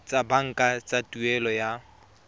tsa banka tsa tuelo ya